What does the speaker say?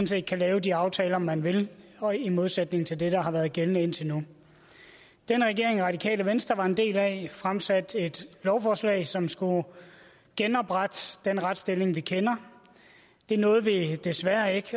set kan lave de aftaler man vil og i modsætning til det der har været gældende indtil nu den regering radikale venstre var en del af fremsatte et lovforslag som skulle genoprette den retsstilling vi kender det nåede vi desværre ikke